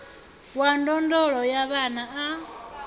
wa ndondolo ya vhana a